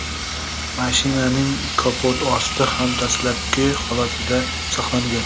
Mashinaning kapoti osti ham dastlabki holatida saqlangan.